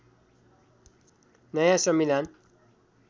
नयाँ संविधान